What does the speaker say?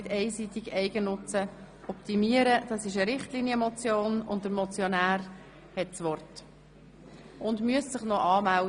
Wir beginnen mit der Richtlinienmotion mit der Traktandennummer 37.